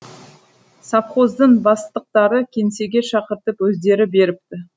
совхоздың бастықтары кеңсеге шақыртып өздері беріпті